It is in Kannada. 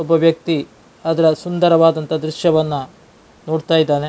ಒಬ್ಬ ವ್ಯಕ್ತಿ ಅದರ ಸುಂದರವಾದ ದ್ರಶ್ಯವನ್ನ ನೋಡ್ತಾ ಇದ್ದಾನೆ.